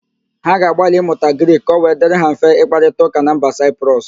Ha ga-agbalị ịmụta Grik ka ọ wee dirị ha mfe ịkparịtaụ́kà na mba Siprus?